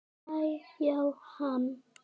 Æ-já, hann.